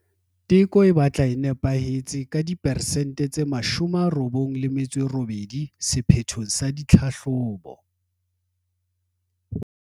Teko e batla e nepahetse ka diperesente tse 98 sephethong sa ditlhahlobo.